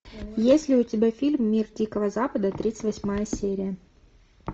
есть ли у тебя фильм мир дикого запада тридцать восьмая серия